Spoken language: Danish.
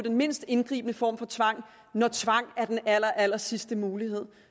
mindst indgribende form for tvang når tvang er den allerallersidste mulighed